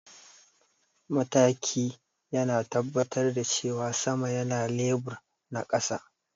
mataki yana tabbatar da cewa sama yana lebur na kasa